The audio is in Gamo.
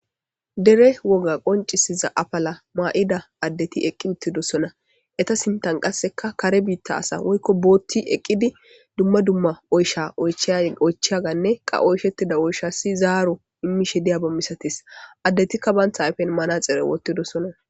Dere woga qoncisiza apala maa'ida addeti eqqi uttidossona eta sintan qasseka kare biitta asa woykko bootti eqqidi dumma dumma oysha oycheya ganne qa oyshettida oysha si zaaro immishe diya bammisatis addetikka bantha ayfen maana xere wottidossona.